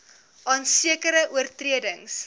aan sekere oortredings